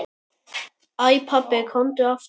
Æ pabbi, komdu aftur.